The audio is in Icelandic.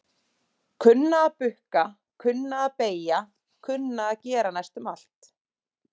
Kunna að bukka, kunna að beygja kunna að gera næstum allt.